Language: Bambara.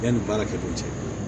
Yanni baarakɛ ko cɛ